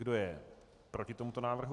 Kdo je proti tomuto návrhu?